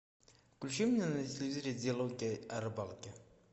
включи мне на телевизоре диалоги о рыбалке